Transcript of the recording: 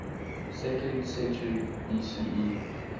second century bce